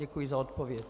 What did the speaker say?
Děkuji za odpověď.